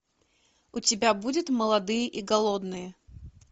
у тебя будет молодые и голодные